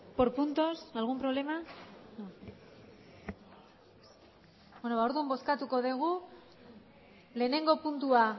por puntos algún problema orduan bozkatuko dugu lehenengo puntua